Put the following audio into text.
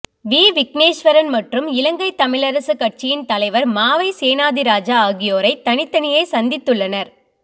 we Vigneswaran மற்றும் இலங்கை தமிழரசு கட்சியின் தலைவர் மாவை சேனாதிராஜா ஆகியோரை தனித்தனியே சந்தித்துள்ளனர்